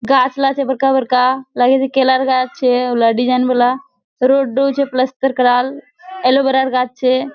गाछ ला छे बड़का-बड़का लागेछे केलार गाछ छे डिज़ाइन वाला रोडडा छे पलस्तर कराल एलोवेरार गाछ छे।